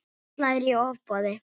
Það slær í ofboði.